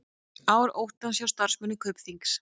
Ár óttans hjá starfsmönnum Kaupþings